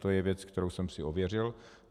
To je věc, kterou jsem si ověřil.